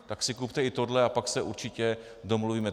Tak si kupte i tohle, a pak se určitě domluvíme."